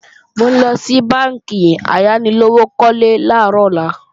Mò ńlọ sí bánkì ayánilówókọ́lé làárọ̀ ọ̀la